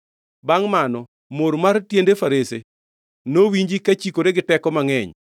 Bangʼ mano mor mar tiende farese nowinji kachikore gi teko mangʼeny.